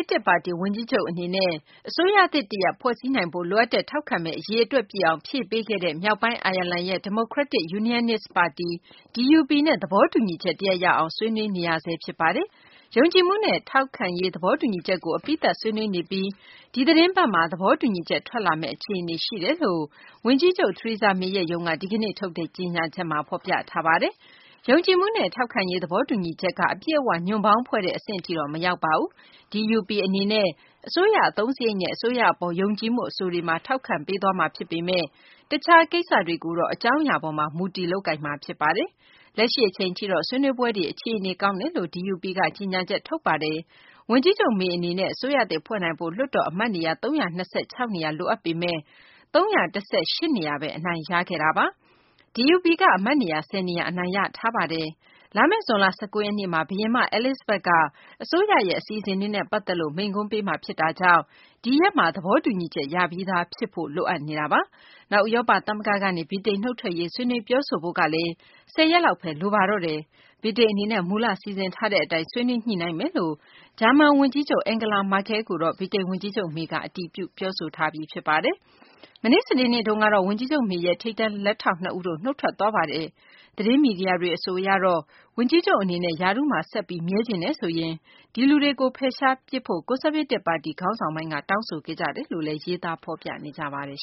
းတစ် ပါတီ ဝန်ကြီးချုပ် အနေနဲ့ အစိုးရသစ် တရပ် ဖွဲ့စည်းနိုင်ဖို့ လိုအပ်တဲ့ ထောက်ခံမဲ အရေအတွက်ပြည့်အောင် ဖြည့်ပေးခဲ့တဲ့ မြောက်ပိုင်း အိုင်ယာလန်ရဲ့ Democratic Unionist ပါတီ DUP နဲ့ သဘောတူညီချက် တရပ်ရအောင် ဆွေးနွေးနေဆဲ ဖြစ်ပါတယ်။ ယုံကြည်မှုနဲ့ ထောက်ပံ့ရေး သဘောတူညီချက်ကို အပြီးသတ် ဆွေးနွေးနေပြီး ဒီသတင်းပတ်မှာ သဘောတူညီချက် ထွက်လာမယ့် အခြေအနေ ရှိပါတယ်လို့ ဝန်ကြီးချုပ် Theresa May ရဲ့ ရုံးက ဒီကနေ့ ထုတ်တဲ့ ကြေညာချက်မှာ ဖော်ပြထားပါတယ်။ ယုံကြည်မှုနဲ့ ထောက်ပံ့ရေး သဘောတူညီချက်က အပြည့်အ၀ ညွန့်ပေါင်းဖွဲ့တဲ့ အဆင့်ထိတော့ မရောက်ပါဘူး။ DUP အနေနဲ့ အစိုးရ အသုံးစာရိတ်နဲ့ အစိုးရ အပေါ် ယုံကြည်မှု အဆိုတွေမှာ ထောက်ခံပေးသွားမှာ ဖြစ်ပေမယ့် တခြား ကိစ္စတွေကိုတော့ အကြောင်းအရာပေါ်မှာ မူတည် လုပ်ကိုင်မှာ ဖြစ်ပါတယ်။ လက်ရှိ အချိန်ထိတော့ ဆွေးနွေးပွဲတွေ အခြေအနေ ကောင်းတယ်လို့ DUP ကလည်း ကြေညာချက် ထုတ်ပါတယ်။ ဝန်ကြီးချုပ် May အနေနဲ့ အစိုးရသစ် ဖွဲ့နိုင်ဖို့ လွှတ်တော် အမတ်နေရာ ၃၂၆ နေရာ လိုအပ်ပေမယ့် ၃၁၈ နေရာဘဲ အနိုင်ရခဲ့တာပါ။ DUP က အမတ်နေရာ ၁၀ နေရာ အနိုင်ရထားတာပါ။ လာမယ့် ဇွန်လ ၁၉ ရက်နေ့မှာ ဘုရင်မ Elixabeth က အစိုးရရဲ့ အစီအစဉ်တွေနဲ့ ပတ်သက်ပြီး မိန့်ခွန်းပေးမှာကြောင့် ဒီရက်မှာ သဘောတူညီချက် ရပြီးသား ဖြစ်ဖို့ လိုအပ်နေတာပါ။ နောက် ဥရောပ သမဂ္ဂကနေ ဗြိတိန် နုတ်ထွက်ရေး ဆွေးနွေးပြောဆိုဖု့ိ ကလည်း ၁၀ ရက်လောက်ဘဲ လိုတော့တာပါ။ ဗြိတိန် အနေနဲ့ မူလ စီစဉ်ထားတဲ့ အတိုင်း ဆွေးနွေးညှိနှိုင်းသွားမယ်လို့ ဂျာမန် ဝန်ကြီးချုပ် Angela Merkel ကို ဗြိတိန် ဝန်ကြီးချုပ် May က အတည်ပြုထားပြီး ဖြစ်ပါတယ်။ မနေ့ စနေနေ့တုန်းကတော့ ဝန်ကြီးချုပ် May ရဲ့ ထိပ်တန်း လက်ထောက် နှစ်ဦး နုတ်ထွက်သွားပါတယ်။ သတင်းမီဒီယာတွေ အဆိုအရတော့ ဝန်ကြီးချုပ် အနေနဲ့ ရာထူးမှာ ဆက်ပြီး မြဲချင်တယ်ဆိုရင် ဒီလူတွေကို ဖယ်ရှားပစ်ဖို့ ကွန်ဆာဗေးတစ် ပါတီ ခေါင်းဆောင်ပိုင်းက တောင်းဆိုခဲ့ကြတယ်လို့လည်း ဖော်ပြနေကြပါတယ်